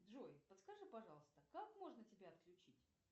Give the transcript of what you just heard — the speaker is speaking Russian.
джой подскажи пожалуйста как можно тебя отключить